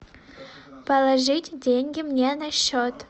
положить деньги мне на счет